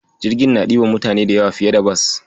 Jirgin na ɗiban mutane da yawa fiye da Bas.